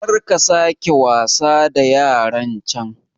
karka sake wasa da yarancan